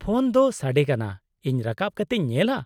-Phone ᱫᱚ ᱥᱟᱰᱮ ᱠᱟᱱᱟ, ᱤᱧ ᱨᱟᱠᱟᱵ ᱠᱟᱛᱤᱧ ᱧᱮᱞᱼᱟ ᱾